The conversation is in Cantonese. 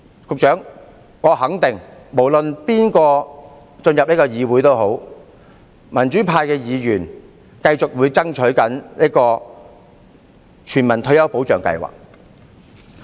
局長，我肯定民主派無論誰人進入這個議會，他們都會繼續爭取全民退休保障計劃。